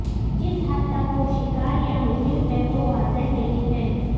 جس حد تک وہ شکار یا مجرم ہے وہ واضح نہیں ہے